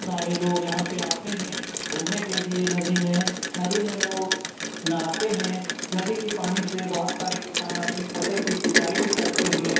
सारे लोग यहाँ पे आते हैं घुमने के लिए नदी में नदी में लोग नहाते हैं नदी की पानी से बहुत सारे किसान अपने फसल की सिंचाई भी करते हैं